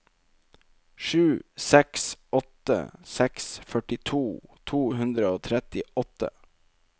sju seks åtte seks førtito to hundre og trettiåtte